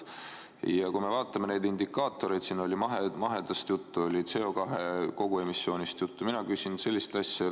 Ja kui vaadata sellekohaseid indikaatoreid – siin oli mahetootmisest juttu, on CO2 koguemissioonist juttu –, siis mina küsin sellist asja.